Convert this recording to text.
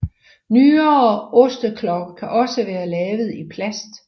Nyere osteklokker kan også være lavet i plast